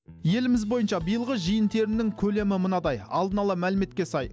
еліміз бойынша биылғы жиын терімнің көлемі мынадай алдын ала мәліметке сай